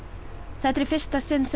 þetta er í fyrsta sinn sem